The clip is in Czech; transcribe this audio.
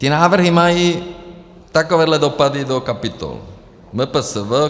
Ty návrhy mají takovéhle dopady do kapitol MPSV.